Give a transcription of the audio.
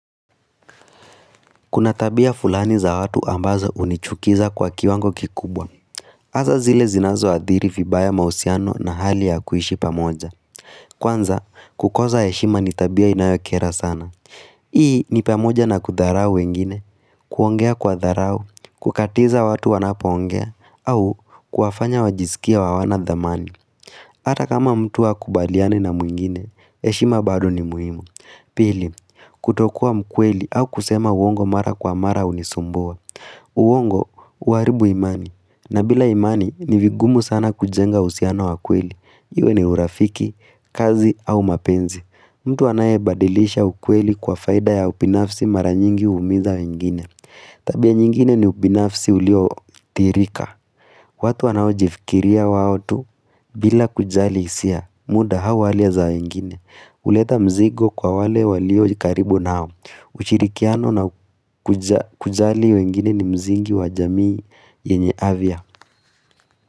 Kuna tabia fulani za watu ambazo hunichukiza kwa kiwango kikubwa. Hasa zile zinazoathiri vibaya mahusiano na hali ya kuishi pamoja. Kwanza, kukoza heshima ni tabia inayokera sana. Hii ni pamoja na kudharau wengine, kuongea kwa dharau, kukatiza watu wanapoongea, au kuwafanya wajisikie hawana dhamani. Ata kama mtu hakubaliani na mwingine, heshima bado ni muhimu. Pili, kutokuwa mkweli au kusema uongo mara kwa mara hunisumbua. Uongo, huharibu imani. Na bila imani, ni vigumu sana kujenga uhusiano wa kweli. Iwe ni urafiki, kazi au mapenzi. Mtu anayebadilisha ukweli kwa faida ya ubinafsi mara nyingi huumiza wengine. Tabia nyingine ni ubinafsi uliotirika watu wanaojifikiria wao tu bila kujali hisia muda au hali za wengine huleta mzigo kwa wale waliokaribu nao ushirikiano na kujali wengine ni msingi wajamii yenye afya.